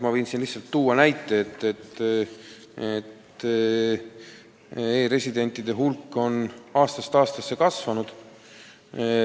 Ma võin siin tuua lihtsa näite, et e-residentide hulk on aastast aastasse kasvanud.